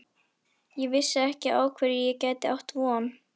Ég vissi ekki á hverju ég gæti átt von.